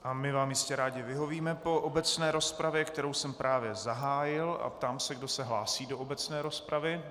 A my vám jistě rádi vyhovíme po obecné rozpravě, kterou jsem právě zahájil, a ptám se, kdo se hlásí do obecné rozpravy.